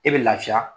E bɛ lafiya